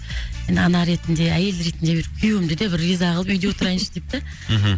ана ретінде әйел ретінде бір күйеуімді де бір риза қылып үйде отырайыншы деп та мхм